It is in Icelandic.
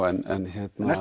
en